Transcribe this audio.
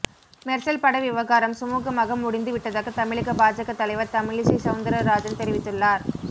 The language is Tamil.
மெர்சல் பட விவகாரம் சுமுகமாக முடிந்து விட்டதாக தமிழக பாஜக தலைவர் தமிழிசை சவுந்தரராஜன் தெரிவித்துள்ளார்